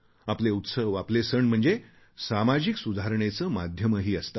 आपले उत्सव आपले सण म्हणजे सामाजिक सुधारणेचे माध्यमही असतात